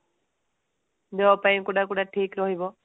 job ପାଇଁ କୋଉଟା କୋଉଟା ଠିକ ରହିବ